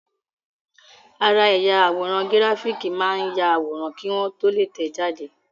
Ara ẹ̀yà àwòrán gíráfìkì máa ń yàwòrán kí wọ́n tó lè tẹ̀ẹ́ jáde